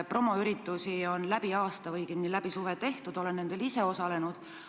Promoüritusi on läbi aasta või õigemini läbi suve tehtud, olen nendel ise osalenud.